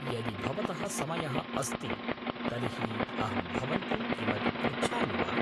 यदि भवतः समयः अस्ति तर्हि अहं भवन्तं किमपि पृच्छामि वा?